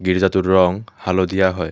গীৰ্জাটোৰ ৰং হালধীয়া হয়।